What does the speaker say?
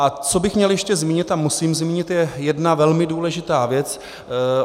A co bych měl ještě zmínit a musím zmínit, je jedna velmi důležitá věc.